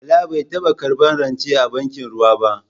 Bala bai taba karbar rance a bankin ruwa ba.